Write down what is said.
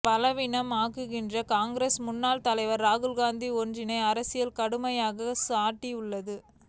பலவீனம் ஆக்குகின்றனர் காங்கிரஸ் முன்னாள் தலைவர் ராகுல்காந்தி ஒன்றிய அரசை கடுமையாக சாடியுள்ளார்